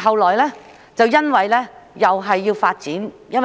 後來，因為那裏